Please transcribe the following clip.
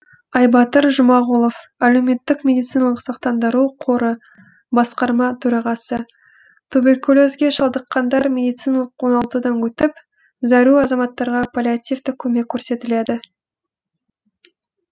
айбатыр жұмағұлов әлеуметтік медициналық сақтандыру қоры басқарма төрағасы туберкулезге шалдыққандар медициналық оңалтудан өтіп зәру азаматтарға паллиативтік көмек көрсетіледі